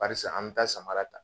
Barisa an bɛ taa samara ta.